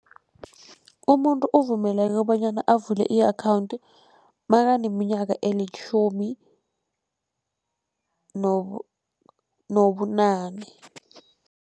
Umuntu uvumeleke kobanyana avule i-akhawunti nakaneminyaka elitjhumi nobunane.